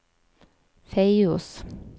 Feios